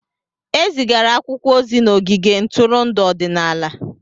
Ezigara akwụkwọ ozi n'ogige ntụrụndụ ọdịnala.